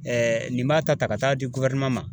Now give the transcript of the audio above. Ɛɛ nin b'a ta ka taa di guwɛrineman ma